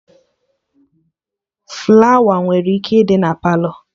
Flawa nwere ike ịdị na Palọ